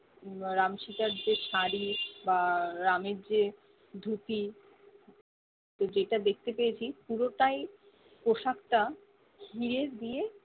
উম রাম সিতার যে শাড়ি বা রামের যে ধুতি যে তা দেখতে পেয়েছি পুরোটাই পোশাক টা হিরে দিয়ে